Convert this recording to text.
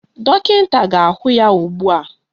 Dọkịta ga-ahụ ya ugbua